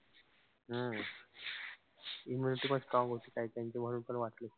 हम्म immunity पण strong होती. काई काई म्हणून पण वाचले.